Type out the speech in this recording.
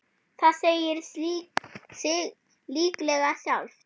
Það segir sig líklega sjálft.